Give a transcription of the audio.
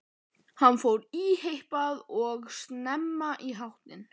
Hann fór í heitt bað og snemma í háttinn.